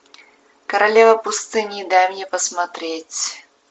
королева пустыни дай мне посмотреть